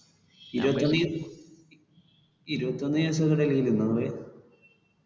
ഇരുപത്തൊന്നു ദിവസം ഇരുപത്തൊന്നു ദിവസോക്കെ ഡൽഹില് നിന്ന പോയെ?